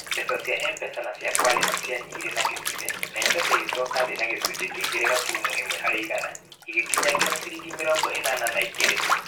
Mbeca cia M-Pesa na cia kwaria nĩ cianyihire na gicunji. na M-Pesa ĩgĩcoka thĩ na gĩcunjĩ kĩa igere gaturumo ĩmwe harĩ igana. Ĩgikinya nginya ciringi mĨrongo Ĩnana na igere.